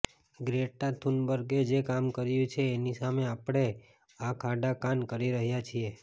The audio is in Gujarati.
ગ્રેટા થુનબર્ગે જે કામ કર્યું છે એની સામે આપણે આંખઆડાકાન કરી રહ્યાં છીએ